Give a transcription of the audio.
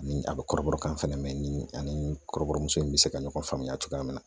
Ni a bɛ kɔrɔbɔrɔkan fɛnɛ mɛn ni ani kɔrɔbɔrɔmuso in bɛ se ka ɲɔgɔn faamuya cogoya min na